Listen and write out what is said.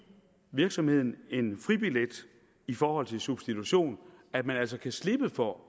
virksomheden en fribillet i forhold til substitution at man altså kan slippe for at